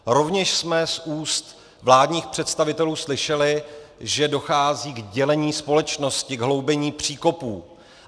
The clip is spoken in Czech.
Rovněž jsme z úst vládních představitelů slyšeli, že dochází k dělení společnosti, k hloubení příkopů.